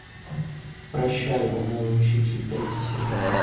прощай унылый учитель третий сезон